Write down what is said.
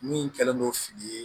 Min kɛlen no fili ye